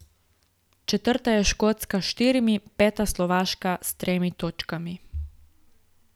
Četrta je Škotska s štirimi, peta Slovaška s tremi točkami.